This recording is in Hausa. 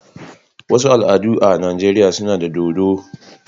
wasu al'adu a Najeriya suna da dodo.